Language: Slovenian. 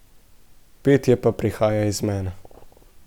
Petje pa prihaja iz mene.